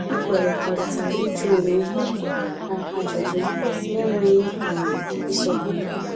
Ha kwerekọritara ịjụ onwe ha ajụjụ na enweghị um isọ mpi